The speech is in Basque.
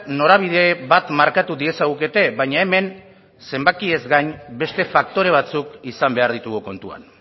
norabide bat markatu diezagukete baina hemen zenbakiez gain beste faktore batzuk izan behar ditugu kontuan